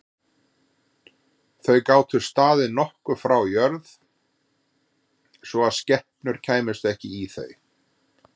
Þau gátu staðið nokkuð frá jörð svo að skepnur kæmust ekki í þau.